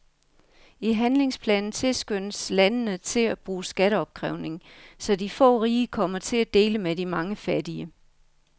I handlingsplanen tilskyndes landene til at bruge skatteopkrævning, så de få rige kommer til at dele med de mange fattige.